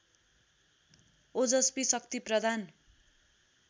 ओजस्वी शक्ति प्रदान